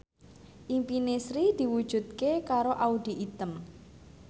impine Sri diwujudke karo Audy Item